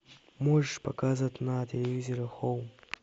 можешь показать на телевизоре хоум